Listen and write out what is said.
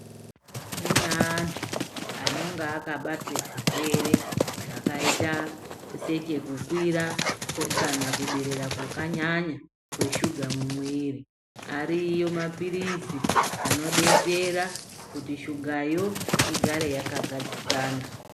Kune antu anonga akabatwa zvirwere zvakaita sekukwira kana kuderera kwakanyanya kweshuga mumwiri asi Ariyo maphirizi anodetsera kuti shugayo igare yakagadzikana .